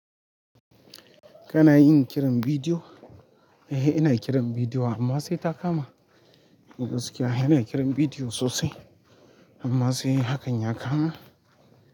Kana yin kiran bidiyo? Eh, ina kiran bidiyo amma sai ta kama. Gaskiya ina kiran video sosai amma sai hakan ya kama.